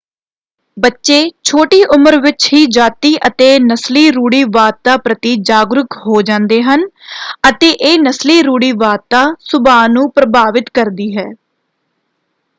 ਬੱਚੇ ਛੋਟੀ ਉਮਰ ਵਿੱਚ ਹੀ ਜਾਤੀ ਅਤੇ ਨਸਲੀ ਰੂੜੀਵਾਦਤਾ ਪ੍ਰਤੀ ਜਾਗਰੂਕ ਹੋ ਜਾਂਦੇ ਹਨ ਅਤੇ ਇਹ ਨਸਲੀ ਰੂੜੀਵਾਦਤਾ ਸੁਭਾਅ ਨੂੰ ਪ੍ਰਭਾਵਿਤ ਕਰਦੀ ਹੈ।